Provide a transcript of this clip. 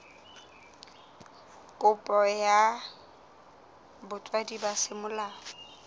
kopo ya botswadi ba semolao